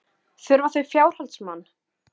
Þurfa þau fjárhaldsmann?